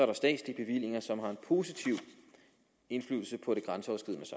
der statslige bevillinger som har en positiv indflydelse på